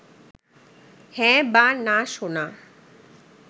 হ্যাঁ বা না শোনা